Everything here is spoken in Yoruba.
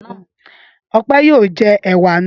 Ọpẹ́ yóò jẹ ẹ̀wà náà.